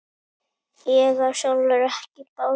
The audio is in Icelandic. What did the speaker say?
Ég á sjálfur ekki bát.